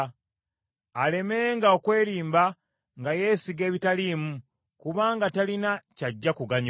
Alemenga okwerimba nga yeesiga ebitaliimu, kubanga talina ky’ajja kuganyulwa.